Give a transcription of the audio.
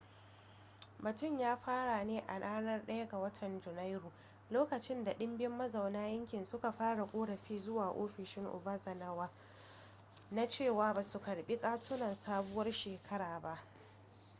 batun ya fara ne a ranar 1 ga watan janairu lokacin da dimbin mazauna yankin suka fara korafi zuwa ofishin obanazawa na cewa basu karbi katunan sabuwar shekara ba